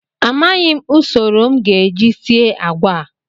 Amaghịm usoro m ga-eji sie agwa a